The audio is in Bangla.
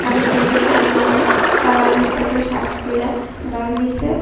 আরেকটা লোক কমলার কালার বৃত্তা একটা শার্ট পইড়া দাঁড়ায় রয়সে।